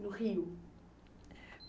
No Rio?